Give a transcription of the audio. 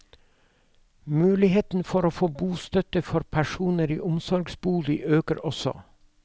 Muligheten for å få bostøtte for personer i omsorgsbolig øker også.